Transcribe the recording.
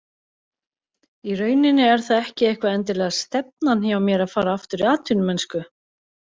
Í rauninni er það ekki eitthvað endilega stefnan hjá mér að fara aftur í atvinnumennsku.